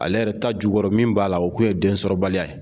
Ale yɛrɛ ta jukɔrɔ min b'a la o tun ye densɔrɔbaliya ye